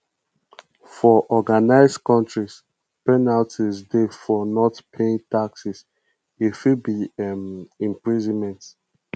for organised countries penalty dey for not paying taxes e fit be um imprisonment